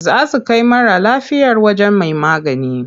Za su kai mara lafiyar wajen mai magani.